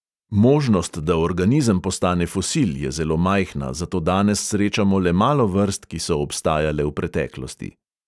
Možnost, da organizem postane fosil, je zelo majhna, zato danes srečamo le malo vrst, ki so obstajale v preteklosti.